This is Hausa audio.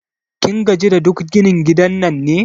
Kin gaji da duk ginin gidan nan ne?